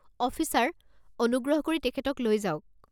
Officer, অনুগ্ৰহ কৰি তেখেতক লৈ যাওক।